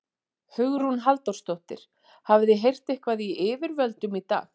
Hugrún Halldórsdóttir: Hafið þið eitthvað heyrt í yfirvöldum í dag?